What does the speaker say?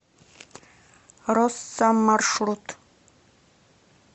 росса маршрут